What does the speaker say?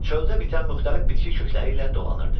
Çöldə bitən müxtəlif bitki kökləri ilə dolanırdı.